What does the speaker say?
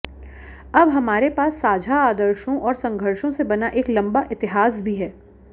अब हमारे पास साझा आदर्शों और संघर्षों से बना एक लंबा इतिहास भी है